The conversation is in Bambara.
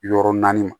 Yɔrɔ naani ma